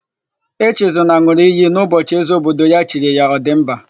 Echezọna n̄ụrụ iyi n'ụbọchị ézē obodo ya chiri ya, Ọdịmba.